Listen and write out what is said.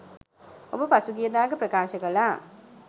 ඔබ පසුගියදාක ප්‍රකාශ කළා